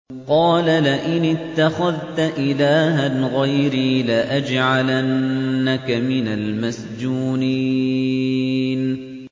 قَالَ لَئِنِ اتَّخَذْتَ إِلَٰهًا غَيْرِي لَأَجْعَلَنَّكَ مِنَ الْمَسْجُونِينَ